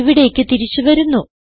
ഇവിടേയ്ക്ക് തിരിച്ചു വരുന്നു